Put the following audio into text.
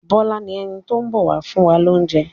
Bọ́lá ni ẹni tó ń bọ̀ wá fún wa lóúnjẹ.